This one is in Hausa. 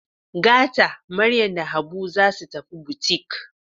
Gata Maryam da Habu za su tafi butik.